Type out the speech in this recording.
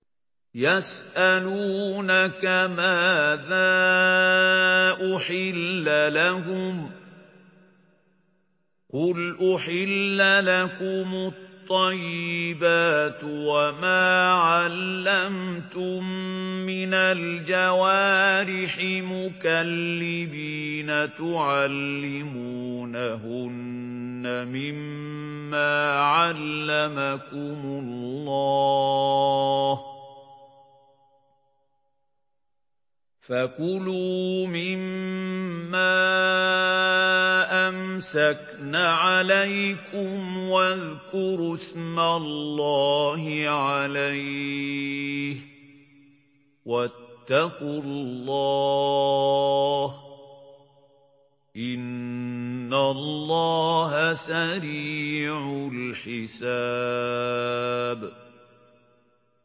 يَسْأَلُونَكَ مَاذَا أُحِلَّ لَهُمْ ۖ قُلْ أُحِلَّ لَكُمُ الطَّيِّبَاتُ ۙ وَمَا عَلَّمْتُم مِّنَ الْجَوَارِحِ مُكَلِّبِينَ تُعَلِّمُونَهُنَّ مِمَّا عَلَّمَكُمُ اللَّهُ ۖ فَكُلُوا مِمَّا أَمْسَكْنَ عَلَيْكُمْ وَاذْكُرُوا اسْمَ اللَّهِ عَلَيْهِ ۖ وَاتَّقُوا اللَّهَ ۚ إِنَّ اللَّهَ سَرِيعُ الْحِسَابِ